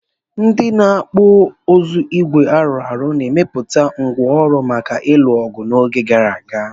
Ndị na-okpu uzu ígwè arụ ọrụ na-emepụta ngwá ọrụ maka ịlụ ọgụ n'oge gara aga.